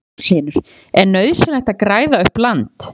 Magnús Hlynur: Er nauðsynlegt að græða upp land?